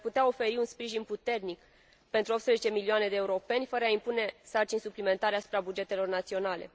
Ea ar putea oferi un sprijin puternic pentru 18 milioane de europeni, fără a impune sarcini suplimentare asupra bugetelor naționale.